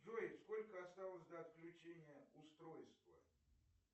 джой сколько осталось до отключения устройства